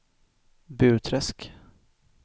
Burträsk